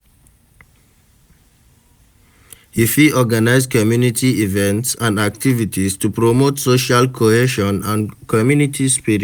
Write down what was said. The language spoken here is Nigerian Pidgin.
You fit organize community events and activities to promote social cohesion and community spirit.